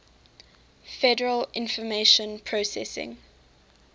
federal information processing